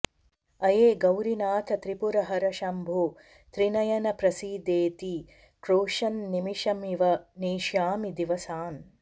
अये गौरीनाथ त्रिपुरहरशम्भो त्रिनयन प्रसीदेति क्रोशन्निमिषमिव नेष्यामि दिवसान्